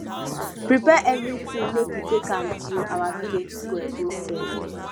prepare everything make we take am to our village square go sell